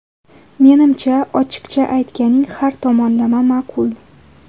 Menimcha, ochiqcha aytganing har tomonlama ma’qul’.